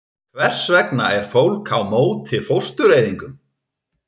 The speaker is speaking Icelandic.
Hvers vegna er fólk á móti fóstureyðingum?